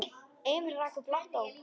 Emil rak upp lágt óp.